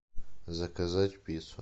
заказать пиццу